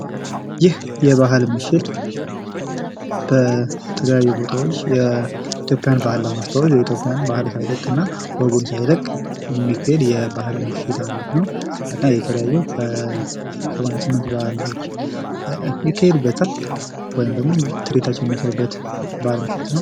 ይህ የባህል ምሽት በተለያዩ ቦታዎች የኢትዮጵያን ባህል ለማስተዋወቅ የኢትዮያን ባህል ሳይለቅ እና ወጉን ሳይለቅ የሚካሄድ የባህል ምሽት ሙዚቃ ቤት ነው። እና የተለያዩ 88 ባህሎች ይካሄዱበታል። ወይም ደግሞ ተርኢታዎችን የሚያሳዩበት የባህል ምሽት ነው።